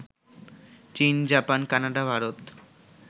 চীন, Japan, Canada, Bharat